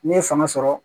N'i ye fanga sɔrɔ